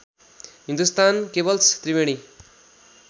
Hindustan cables Triveni